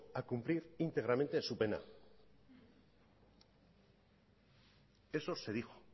a cumplir íntegramente su pena eso se dijo